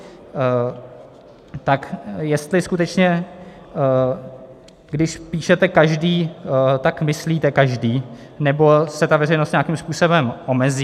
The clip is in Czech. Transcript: - Tak jestli skutečně když píšete každý, tak myslíte každý, nebo se ta veřejnost nějakým způsobem omezí.